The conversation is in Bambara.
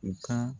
U ka